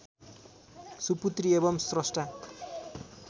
सुपुत्री एवम् श्रष्टा